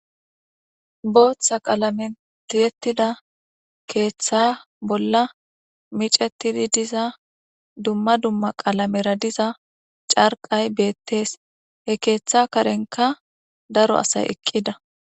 Bootha qalamen tiyetida keetha bolla micetidi diza dumma dumma qalamera diza cariqay betes, he keetha karenka daro asay eqida